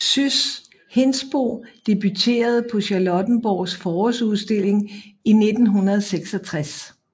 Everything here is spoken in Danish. Sys Hindsbo debutterede på Charlottenborgs Forårsudstilling i 1966